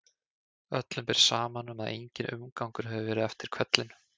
Öllum ber saman um að enginn umgangur hafi verið eftir hvellinn.